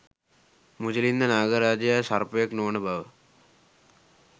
මුචලින්ද නාග රාජයා සර්පයෙක් නොවන බව